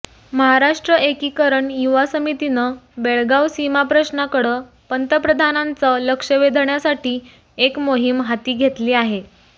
महाराष्ट्र एकिकरण युवा समितीनं बेळगाव सीमाप्रश्नाकडं पंतप्रधानांचं लक्ष वेधण्यासाठी एक मोहीम हाती घेतली आहे